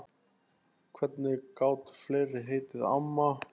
Hvernig gátu fleiri heitið amma?